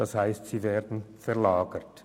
Das heisst, die Kosten werden verlagert.